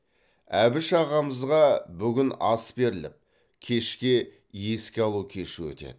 әбіш ағамызға бүгін ас беріліп кешке еске алу кеші өтеді